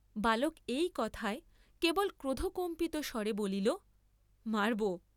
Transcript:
বালক এই কথায় কেবল ক্রোধকম্পিত স্বরে বলিল মারবো।